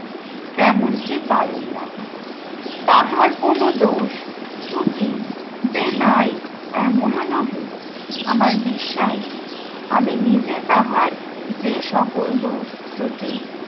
তেমনটি পারেন না তাহার কোনো দোষ ত্রুটি যে নাই এমন ও নহে আমার বিশ্বাস আমি নিজে তাহার যে সকল দোষ ত্রুটি